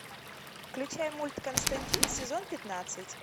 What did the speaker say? включай мульт константин сезон пятнадцать